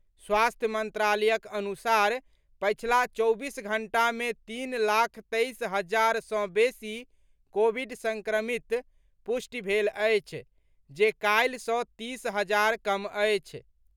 स्वास्थ्य मंत्रालयक अनुसार पछिला चौबीस घंटा मे तीन लाख तेईस हजार सँ बेसी कोविड संक्रमितक पुष्टि भेल अछि जे काल्हि सँ तीस हजार कम अछि।